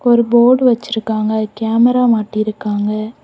ஒரு போர்டு வச்சிருக்காங்க கேமரா மாட்டி இருக்காங்க.